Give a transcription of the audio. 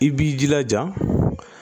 I b'i jilaja